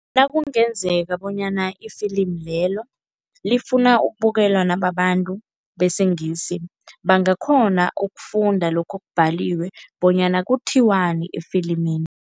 Nakungenzeka bonyana ifilimu lelo lifuna ukubukelwa nababantu besiNgisi, bangakhona ukufunda lokho okubhaliwe bonyana kuthiwani efilimini.